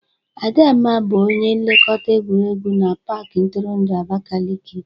Adamma bụ onye nlekọta egwuregwu na pak ntụrụndụ Abakeleke.